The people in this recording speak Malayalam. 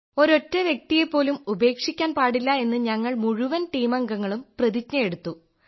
ഒരൊറ്റ വ്യക്തിയെപ്പോലും ഉപേക്ഷിക്കാൻ പാടില്ല എന്ന് ഞങ്ങൾ മുഴുവൻ ടീമംഗങ്ങളും പ്രതിജ്ഞയെടുത്തു